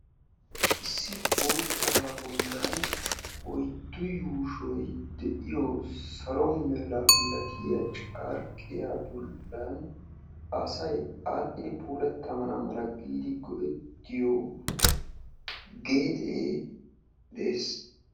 issi boottabaa bolan oyddu yuushoy de'iyo salo mera milatiya carqqiya bolan asay puulatana mala go'ettiyo geexee de'ees.